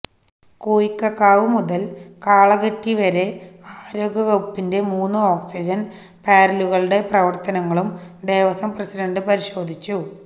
കോയിക്കക്കാവ് മുതല് കാളകെട്ടി വരെ ആരോഗ്യവകുപ്പിന്റെ മൂന്ന് ഓക്സിജന് പാര്ലറുകളുടെ പ്രവര്ത്തനങ്ങളും ദേവസ്വം പ്രസിഡന്റ് പരിശോധിച്ചു